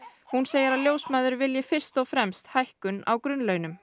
hún segir að ljósmæður vilji fyrst og fremst hækkun á grunnlaunum